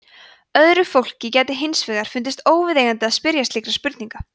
öðru fólki gæti hins vegar fundist óviðeigandi að spyrja slíkra spurninga